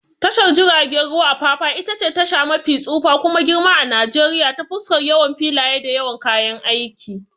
Tashar jiragen ruwan Apapa itace tasha mafi tsufa kuma girma a Najeriya ta fuskar yawan filaye da yawan kayan aiki.